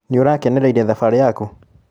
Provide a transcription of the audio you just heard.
Nĩũrakenereire thabarĩ yaku?